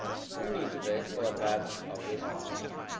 We need to take full advantage of this momentum.